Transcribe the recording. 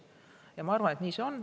Ja ma arvan ka, et nii see on.